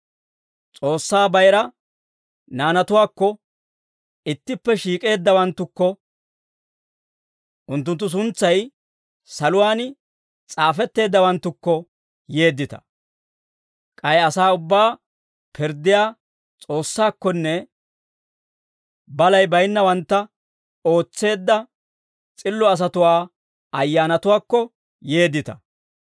S'oossaa bayira naanatuwaakko, ittippe shiik'eeddawanttukko, unttunttu suntsay saluwaan s'aafetteeddawanttukko yeeddita; k'ay asaa ubbaa pirddiyaa S'oossaakkonne, balay baynnawantta ootseedda s'illo asatuwaa ayyaanatuwaakko yeeddita.